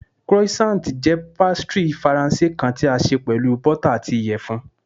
Croissant jẹ pastry Faranse kan ti a ṣe pẹlu bota ati iyẹfun